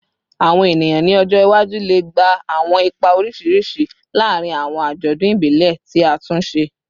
Awọn eniyan ni ọjọ iwaju le gba awọn ipa oriṣiriṣi laarin awọn ajọdun ibile ti a tun ṣe